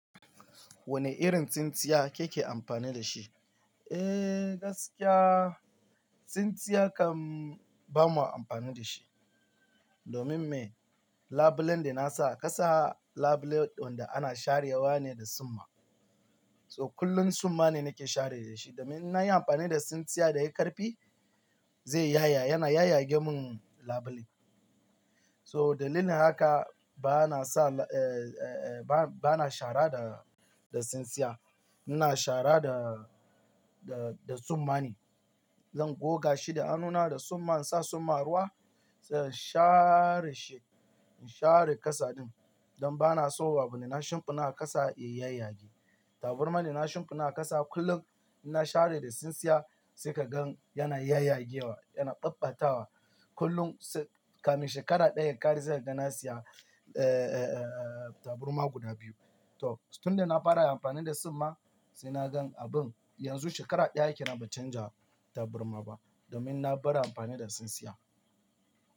Wane irin tsintsiya kike amfani da shi? Eh, gaskiya tsintsiya kam ba mu amfani da shi. Domin me? Labulen da na sa ƙasa, labule ɗin da ana sharewa ne da suma. So kullum suma ne nake share da shi. Domin na yi amfani da tsintsiya da ya yi ƙarfi, zai yaya, yana yayyage mun labule. So dalilin haka ba na sa, eh, eh, eh, ba, ba na shara da, da tsintsiya. Ina shara da, da, da tsuma ne. Zan goga shi da hannuna da suma, in sa suma ruwa, sai in share shi, in share ƙasa ɗin. Don ba na so babu na shimfiɗa ƙasa ya yayyage. Taburma da na shimfiɗa ƙasa kullum, in na share da tsintsiya sai ka gan yana yayyage wa, yana babbatawa. Kullum sai kamin shekara ɗaya ƙare se ka ga na siya taburma guda biyu. To tun da na fara amfani da tsuma sai na gan abun. Yanzu shekara ɗaya kenan ban canja tabarma ba domin na bar amfani da tsintsiya.